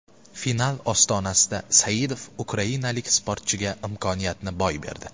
Final ostonasida Saidov ukrainalik sportchiga imkoniyatni boy berdi.